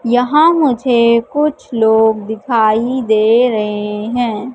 यहां मुझे कुछ लोग दिखाई दे रहे हैं।